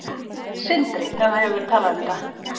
Sindri: En það hefur verið talað um þetta?